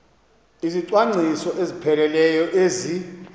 izicwangciso ezipheleleyo ezi